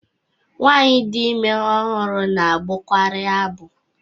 Nwaanyi dị ime ọhụrụ na-agbọkari agbọ.